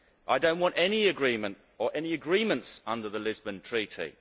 I do not want any agreement or any agreements under the Lisbon Treaty.